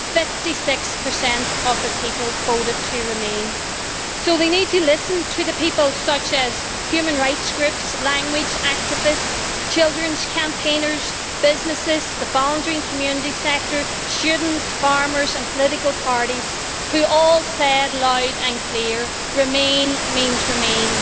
Fifty six per cent of the people voted to remain so they need to listen to the people, including human rights groups, language activists, children's campaigners, businesses, the voluntary and community sector, students, farmers and political parties, who all said loud and clear remain means remain'.